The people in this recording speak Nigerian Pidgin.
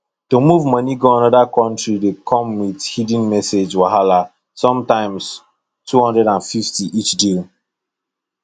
to move money go another country dey come with hidden message wahala sometimes 250 each deal